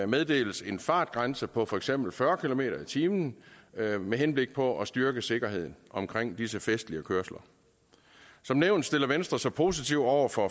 meddeles en fartgrænse på for eksempel fyrre kilometer per time med henblik på at styrke sikkerheden omkring disse festlige kørsler som nævnt stiller venstre sig positivt over for